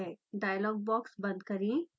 dialog box बंद करें